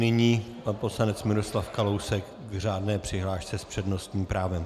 Nyní pan poslanec Miroslav Kalousek k řádné přihlášce s přednostním právem.